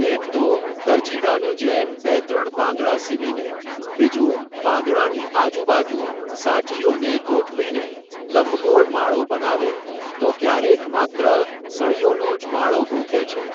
એક તો, દરજીડાની જેમ, બે ત્રણ પાંદડા સીવીને, બીજું, પાંદડાની આજુબાજુ, સાંઠીઓને, ગોઠવીને, લંબગોળ માળો બનાવે, તો, ક્યારેક માત્ર, સળીઓનોજ માળો ગૂંથે છે.